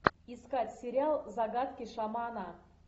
искать сериал загадки шамана